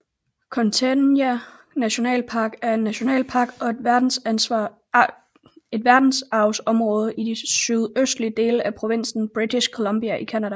Kootenay National Park er en nationalpark og et verdensarvsområde i de sydøstlige dele af provinsen British Columbia i Canada